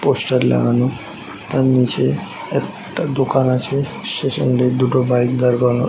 Poster লাগানো তার নিচে একটা দোকান আছে শেষ এন্ড -এ দুটো বাইক দাঁড় করানো ।